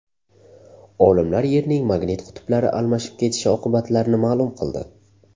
Olimlar Yerning magnit qutblari almashib ketishi oqibatlarini ma’lum qildi.